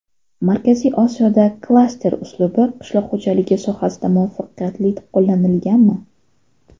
Markaziy Osiyoda klaster uslubi qishloq xo‘jaligi sohasida muvaffaqiyatli qo‘llanilganmi?